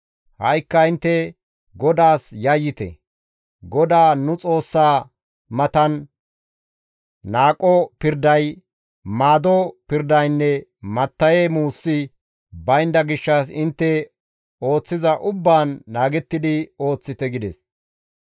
Ha7ikka intte GODAAS yayyite; GODAA nu Xoossaa matan naaqo pirday, maaddo pirdaynne matta7e muusi baynda gishshas intte ooththiza ubbaan naagettidi ooththite» gides.